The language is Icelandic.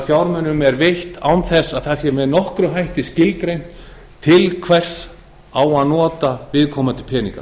fjármunum er veitt án þess að það sé með nokkrum hætti skilgreint til hvers á að nota viðkomandi peninga